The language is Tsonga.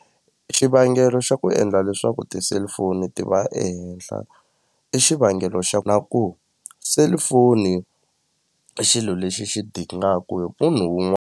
Xivangelo xa ku endla leswaku ti-cellphone ti va ehenhla i xivangelo xa na ku cellphone i xilo lexi xi dingaku hi munhu .